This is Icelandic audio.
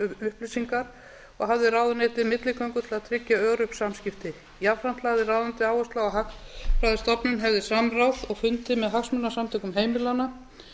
upplýsingar og hafði ráðuneytið milligöngu til að tryggja örugg samskipti jafnframt lagði ráðuneytið áherslu á að hagfræðistofnun hefði samráð á fundi með hagsmunasamtökum heimilanna